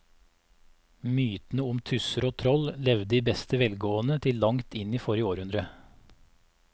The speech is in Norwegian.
Mytene om tusser og troll levde i beste velgående til langt inn i forrige århundre.